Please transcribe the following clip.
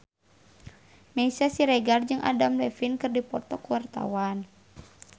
Meisya Siregar jeung Adam Levine keur dipoto ku wartawan